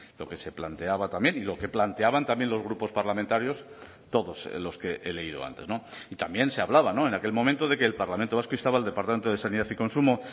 lo que se planteaba también y lo que planteaban también los grupos parlamentarios todos los que he leído antes y también se hablaba en aquel momento de que el parlamento vasco instaba al departamento de sanidad y consumo